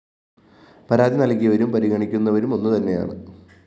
പരാതി നല്‍കിയവരും പരിഗണിക്കുന്നവരും ഒന്നുതന്നെയാണ്